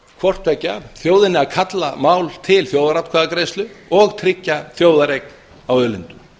hvort tveggja þjóðinni að kalla mál til þjóðaratkvæðagreiðslu og tryggja þjóðareign á auðlindum